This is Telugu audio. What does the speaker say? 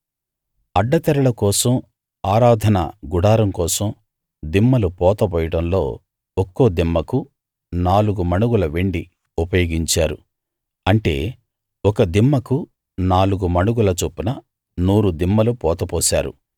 అడ్డతెరల కోసం ఆరాధన గుడారం కోసం దిమ్మలు పోత పోయడంలో ఒక్కో దిమ్మకు నాలుగు మణుగుల వెండి ఉపయోగించారు అంటే ఒక దిమ్మకు నాలుగు మణుగుల చొప్పున నూరు దిమ్మలు పోతపోశారు